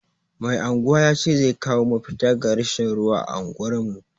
Mai anguwa ya ce zai kawo mafita ga rashin ruwa a unguwar mu.